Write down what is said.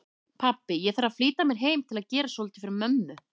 Pabbi, ég þarf að flýta mér heim til að gera svolítið fyrir mömmu